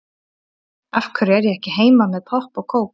Af hverju er ég ekki heima með popp og kók?